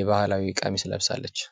የባህላዊ ቀሚስ ለብሳለች ።